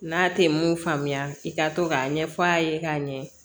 N'a tɛ mun faamuya i ka to k'a ɲɛf'a ye k'a ɲɛ